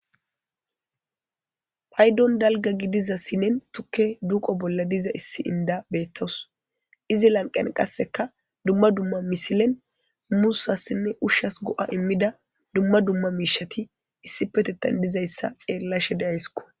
paydon dalga gidizas sinen tukke duuqo bolla diza issi inda beettows izi lanqen qasseka dumma dumma misilen musassinne ushshas go7a immida dumma dumma miishati issi petetan dizayssa xeella shede ayskko